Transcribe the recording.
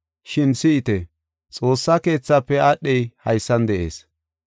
Shin si7ite! Xoossa Keethaafe aadhey haysan de7ees.